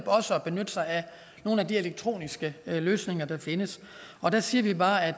også at benytte sig af nogle af de elektroniske løsninger der findes der siger vi bare at